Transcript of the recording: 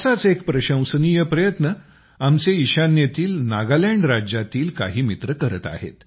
असाच एक प्रशंसनीय प्रयत्न आमचे ईशान्येतील नागालँड राज्यामधील काही मित्र करत आहेत